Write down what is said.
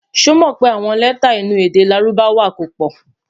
sọ mọ pé àwọn lẹta inú èdè lárùbáwá kò pò